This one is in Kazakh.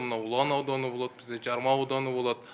мынау ұлан ауданы болады бізде жарма ауданы болады